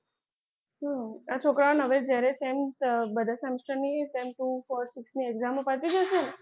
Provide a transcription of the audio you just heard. હમ આ છોકરાઓને હવે જ્યારે same બધા semester ની sem two four six ની exam પતી જશે ને!